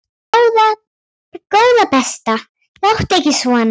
Góða besta láttu ekki svona!